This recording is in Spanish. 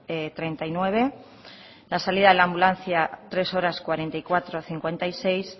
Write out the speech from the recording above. treinta y nueve la salida de la ambulancia tres cuarenta y cuatro cincuenta y seis